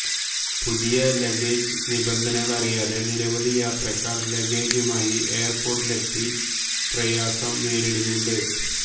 പുതിയ ലഗേജ് നിബന്ധനകളറിയാതെ നിരവധി യാത്രക്കാർ ലഗേജുമായി എയർപ്പോർട്ടി ലെത്തി പ്രയാസം നേരിടുന്നുണ്ട്